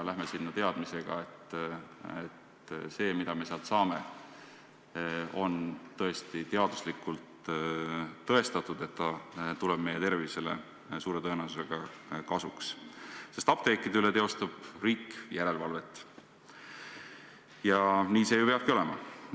Läheme sinna teadmisega, et see, mis me sealt saame, on teaduslikult tõestatud ja suure tõenäosusega tuleb meie tervisele kasuks, sest apteekide üle teostab riik järelevalvet ja nii see peabki ju olema.